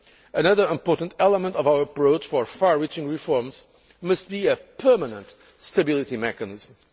Another important element of our approach for far reaching reforms must be a permanent stability mechanism.